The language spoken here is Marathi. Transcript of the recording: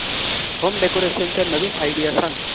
होम डेकोरेशन च्या नवीन आयडीया सांग